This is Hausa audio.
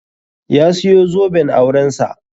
Ya siyo zoben auren sa.